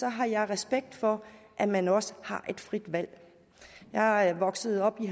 jeg respekt for at man også har et frit valg jeg voksede op i